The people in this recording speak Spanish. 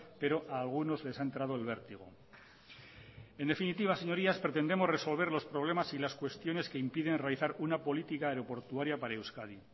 pero a algunos les ha entrado el vértigo en definitiva señorías pretendemos resolver los problemas y las cuestiones que impiden realizar una política aeroportuaria para euskadi